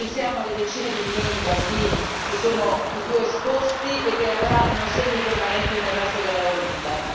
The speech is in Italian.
Pensiamo alle decine di milioni di bambini, che sono i più esposti e che avranno segni permanenti nel resto della loro vita.